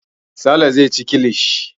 Sale zai ci kilishi.